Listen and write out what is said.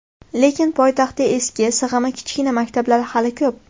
Lekin poytaxtda eski, sig‘imi kichkina maktablar hali ko‘p.